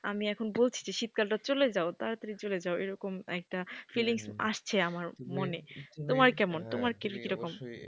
আমি এখন বলছি যে শীতকালটা, চলে যাও তাড়াতাড়ি চলে যাও এরকম একটা fellings আসছে আমার মনে তোমার কেমন তোমার কি রকম?